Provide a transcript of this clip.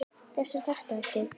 Þess þarf ekki.